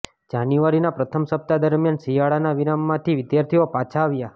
જાન્યુઆરીના પ્રથમ સપ્તાહ દરમિયાન શિયાળાના વિરામમાંથી વિદ્યાર્થીઓ પાછા આવ્યાં